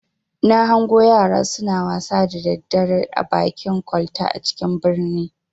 Na hango yara suna wasa da daddare a bakin kwalta a cikin birnin.